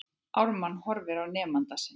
Ármann horfir á nemanda sinn.